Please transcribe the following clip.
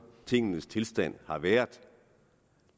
tingenes tilstand har været